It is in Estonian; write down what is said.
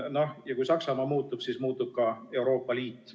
No kui Saksamaa muutub, siis muutub ka Euroopa Liit.